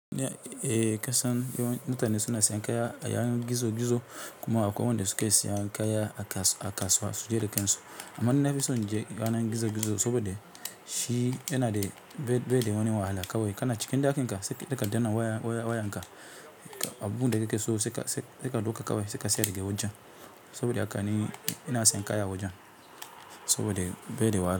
Eh kasan yawan mutane suna sayan kaya a yayin gizo-gizo kuma akwai wanda suka sayan kaya a kasuwa su je da kansu. Amma ni na fi son inje yanar gizo-gizo saboda shi yana da baida wani wahala kawai. Kana cikin ɗakin ka, sai ka danna waya wayanka, abun da kake so saika ɗauka kawai sai ka siya daga wajen saboda haka ne ina sayan kaya a wajen saboda baida wahala.